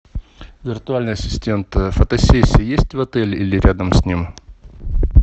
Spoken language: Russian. виртуальный ассистент фотосессии есть в отеле или рядом с ним